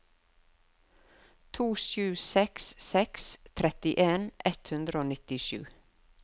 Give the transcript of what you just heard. to sju seks seks trettien ett hundre og nittisju